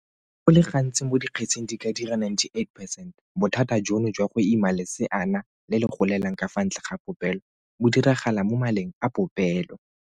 Go le gantsi mo dikgetseng di ka dira 98 percent, bothata jono jwa go ima leseana le le golelang ka fa ntle ga popelo bo diragala mo maleng a popelo.